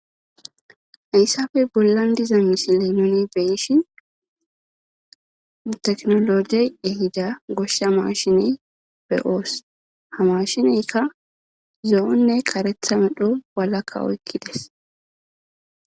Haysafey bollan diza misiley nuni beyishi teknologey ehida goshshea mashiney beyoos ha mashineyka zo'onne karetha medho balakka oykkides.